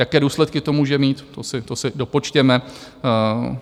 Jaké důsledky to může mít, to si dopočtěme.